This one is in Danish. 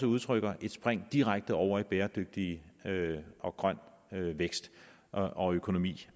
udtrykker det direkte over i bæredygtig og grøn vækst og økonomi